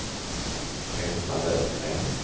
Petra Lövgren